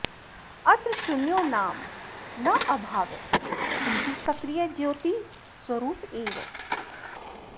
अत्र शून्यो नाम नाभावः किन्तु सक्रिय ज्योतिःस्वरूप एव